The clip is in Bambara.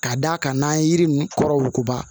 Ka d'a kan n'an ye yiri ninnu kɔrɔ wugukuba